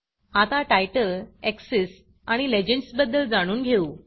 आता title axis आणि legends बद्दल जाणून घेऊ